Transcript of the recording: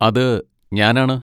അത് ഞാനാണ്.